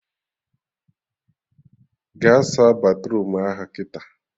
Gaa saa batruum ahụ kịta!